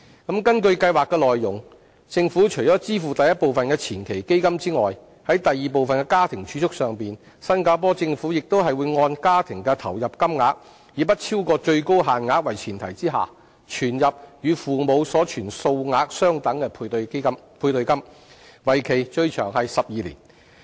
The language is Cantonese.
根據計劃內容，政府除支付第一部分的前期基金外，在第二部分的家庭儲蓄上，新加坡政府亦會按家庭的投入金額，以不超過最高限額為前提，存入與父母所存數額相等的配對金，為期最長12年。